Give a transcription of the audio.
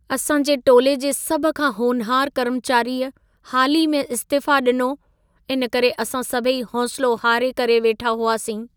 असांजे टोले जे सभु खां होनहारु कर्मचारिअ हाल ई में इस्तिफ़ो डि॒नो. इन करे असां सभई हौसिलो हारे करे वेठा हुआसीं।